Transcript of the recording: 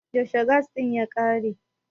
yaushe gas din ya kare?